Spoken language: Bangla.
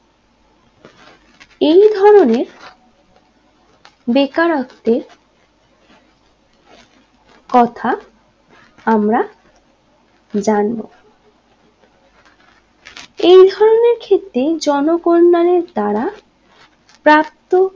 বেকারত্বের কথা আমরা জনবো এই ধরণের ক্ষেত্রে জন কল্যাণের দ্বারা প্রাপ্ত